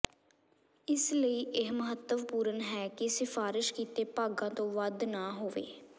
ਇਸ ਲਈ ਇਹ ਮਹੱਤਵਪੂਰਣ ਹੈ ਕਿ ਸਿਫਾਰਸ਼ ਕੀਤੇ ਭਾਗਾਂ ਤੋਂ ਵੱਧ ਨਾ ਹੋਵੇ